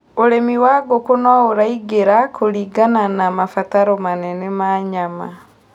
ũrĩmĩwa ngũkũ no ũragĩra kumana na mabataro manene ma nyama